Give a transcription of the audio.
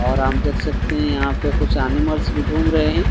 और हम देख सकते हैं यहां पे कुछ एनिमल्स भी घूम रहे है।